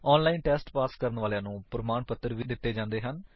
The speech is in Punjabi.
ਆਨਲਾਇਨ ਟੇਸਟ ਪਾਸ ਕਰਨ ਵਾਲਿਆਂ ਨੂੰ ਪ੍ਰਮਾਣ ਪੱਤਰ ਵੀ ਦਿੰਦੇ ਹਨ